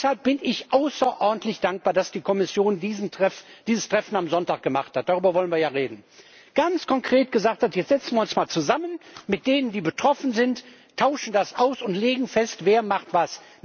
Und deshalb bin ich außerordentlich dankbar, dass die Kommission dieses Treffen am Sonntag gemacht hat, darüber wollen wir ja reden. Ganz konkret hat sie gesagt, jetzt setzen wir uns mal zusammen mit denen, die betroffen sind, tauschen uns aus und legen fest, wer macht was.